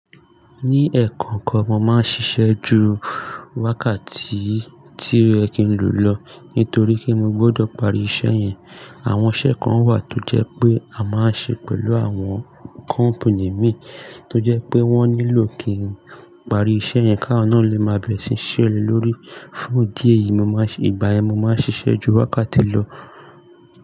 Ní ẹ̀ẹ̀kọ̀kan mo máa ń ṣiṣẹ́ ju wákàtí tí ẹ kín lò lọ nítorí kí mo gbọdọ̀ parí iṣẹ́ yẹn. Àwọn iṣẹ́ kan wà tó jẹ́ pé a máa ń ṣe pẹ̀lú àwọn company mí tó jẹ́ pé wọ́n nílò kí n parí iṣẹ́ yẹn ká ọ́n á lè má bẹ̀rẹ̀ síí ṣẹlẹ̀ lórí. Fún idi èyí, ìgbà ẹ mi máa ń ṣiṣẹ́ ju wákàtí lọ.